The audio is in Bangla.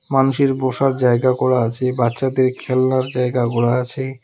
মানুষের বসার জায়গা করা আছে বাচ্চাদের খেলনার জায়গা করা আছে।